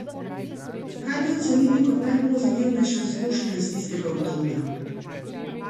Kaj bi ocenili kot najpozitivnejšo izkušnjo iz tistega obdobja?